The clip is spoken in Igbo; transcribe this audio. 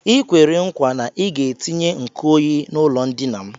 I kwere nkwa na ị ga-etinye nkuoyi n'ụlọndina m